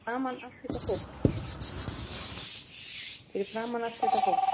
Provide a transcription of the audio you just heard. Fyrir framan allt þetta fólk.